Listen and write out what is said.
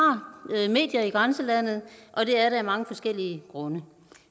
medier i grænselandet og det er det af mange forskellige grunde